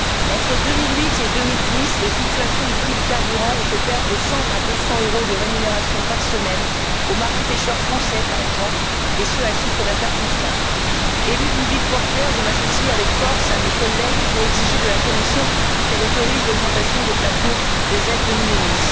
Entre 2008 et 2010, les fluctuations des prix du carburant ont fait perdre de 100 à 200 euros de rémunération par semaine aux marins pêcheurs français, par exemple, et ce pour un chiffre d'affaires constant. Élue d'une ville portuaire, je m'associe avec force à mes collègues pour exiger de la Commission qu'elle autorise l'augmentation des plafonds des aides de minimis